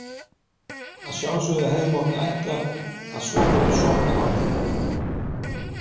Að sjálfsögðu hefði mátt ætla að svokölluð sokkahár.